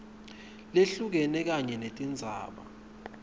lehlukene kanye netindzaba